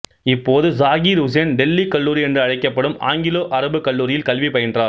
இப்போது சாகிர் உசேன் டெல்லி கல்லூரி என்று அழைக்கப்படும் ஆங்கிலோ அரபு கல்லூரியில் கல்வி பயின்றார்